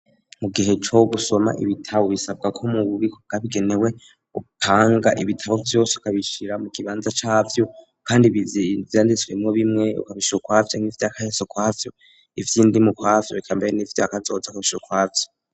Mu gihe co gusoma ibitabo bisabwa ko mu bubiko bwabigenewe upanga ibitabo vyose ukabishira mu kibanza cavyo kandi ivyanditswemo bimwe ukabishira ukwavyo, nk'ivyakahise ukwavyo, ivy'indimi ukwavyo, eka mbere n'ivya kazoza ukabishira ukwavyo.